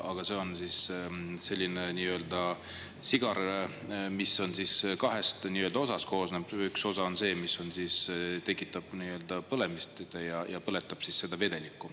Aga see on selline sigar, mis on kahest osast koosnev, üks osa on see, mis tekitab nii-öelda põlemist ja põletab siis seda vedelikku.